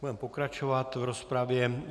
Budeme pokračovat v rozpravě.